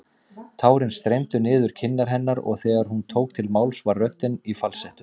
Tárin streymdu niður kinnar hennar og þegar hún tók til máls var röddin í falsettu.